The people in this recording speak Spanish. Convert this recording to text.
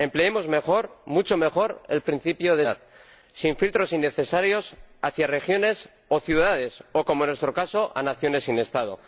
Empleemos mejor, mucho mejor, el principio de subsidiariedad, sin filtros innecesarios hacia regiones o ciudades o, como en nuestro caso, a naciones sin Estado.